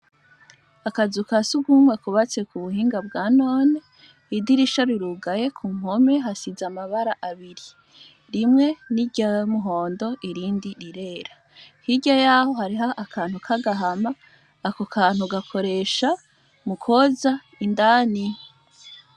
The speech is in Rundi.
Akazu ka sugumwe kubatse ku buhinga bwa none, idirisha rirugaye ku mpome hasize amabara abiri rimwe ni iryumuhondo irindi rirera, hirya yaho hariho akantu ka gahama akokantu gakoresha mu koza indani.